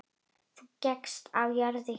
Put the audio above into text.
Þú gekkst á jörðu hér.